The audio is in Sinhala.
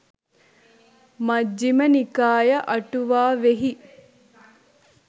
මජ්ක්‍ධිම නිකාය අටුවාවෙහි